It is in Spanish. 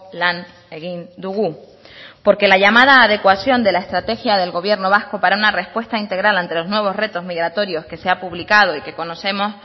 lan egin dugu porque la llamada adecuación de la estrategia del gobierno vasco para una respuesta integral ante los nuevos retos migratorios que se ha publicado y que conocemos